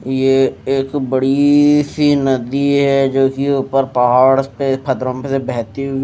ये एक बड़ी सी नदी है जोकि ऊपर पहाड़ पे से बहती हुई--